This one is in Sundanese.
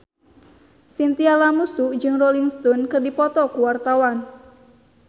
Chintya Lamusu jeung Rolling Stone keur dipoto ku wartawan